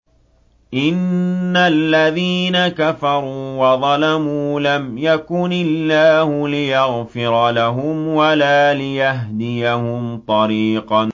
إِنَّ الَّذِينَ كَفَرُوا وَظَلَمُوا لَمْ يَكُنِ اللَّهُ لِيَغْفِرَ لَهُمْ وَلَا لِيَهْدِيَهُمْ طَرِيقًا